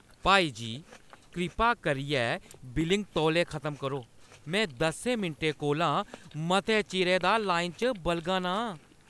भाई जी, कृपा करियै बिलिंग तौले खत्म करो ! मैं दस्सें मिंटें कोला मते चिरै दा लाइन च बलगा ना आं।